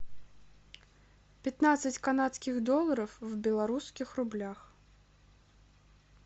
пятнадцать канадских долларов в белорусских рублях